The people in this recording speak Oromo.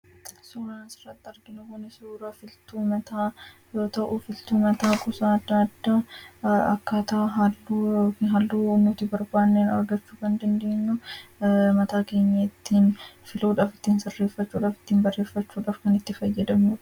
suna sarati arginamoni sruraa filtuu mataa yoo ta'uu filtuu mataa kusaa daadda akkataa halluu nuti barbaannee argachuu banda ndeenu mataa geemeettiin filuudhaafittiin sarreeffachuudhaafittiin barreeffachuu dharkan itti fayyadamue